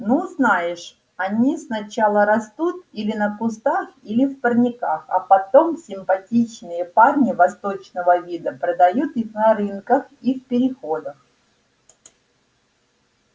ну знаешь они сначала растут или на кустах или в парниках а потом симпатичные парни восточного вида продают их на рынках и в переходах